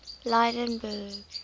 lydenburg